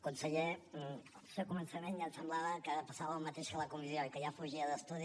conseller el seu començament ja em semblava que passava el mateix que a la comissió i que ja fugia d’estudi